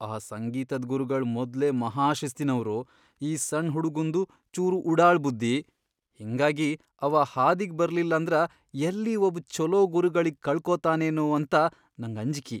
ಆ ಸಂಗೀತದ್ ಗುರುಗಳ್ ಮೊದ್ಲೇ ಮಹಾಶಿಸ್ತಿನವ್ರು, ಈ ಸಣ್ ಹುಡುಗುಂದು ಚೂರು ಉಡಾಳ್ ಬುದ್ಧಿ, ಹಿಂಗಾಗಿ ಅವಾ ಹಾದಿಗಿ ಬರ್ಲಿಲ್ಲಂದ್ರ ಯಲ್ಲಿ ಒಬ್ ಛೊಲೋ ಗುರುಗಳಿಗ್ ಕಳಕೋತಾನೇನೋ ಅಂತ ನಂಗ್ ಅಂಜ್ಕಿ.